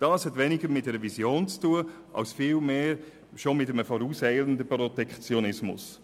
Das hat weniger mit einer Vision zu tun als vielmehr mit einem vorauseilenden Protektionismus.